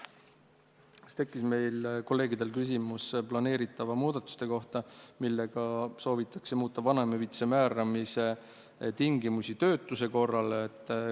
Kolleegidel tekkis küsimus planeeritava muudatuse kohta, millega soovitakse muuta vanemahüvitise määramise tingimusi töötuse korral.